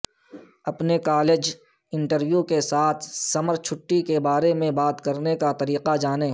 اپنے college interview کے ساتھ سمر چھٹی کے بارے میں بات کرنے کا طریقہ جانیں